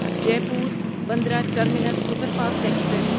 Jaipur Bandra terminus superfast express